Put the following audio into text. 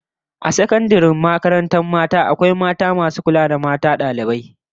A sakandaren kwana ta 'yan mata an nada iyaye mata masu kula da walwalar dalibai mata